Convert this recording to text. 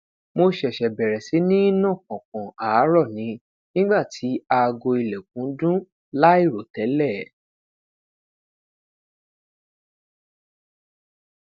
mo ṣẹṣẹ bẹrẹ si ni na pọnpọn aarọ ni nigba ti aago ilẹkun dun lairotẹlẹ